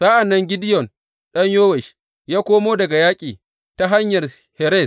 Sa’an nan Gideyon ɗan Yowash ya komo daga yaƙi ta Hanyar Heres.